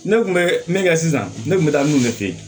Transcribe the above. Ne kun bɛ min kɛ sisan ne kun bɛ taa n'u de fɛ yen